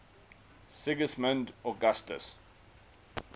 sigismund augustus